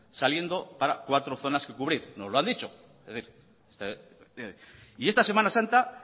saliendo para cuatro zonas que cubrir no lo han dicho es decir y esta semana santa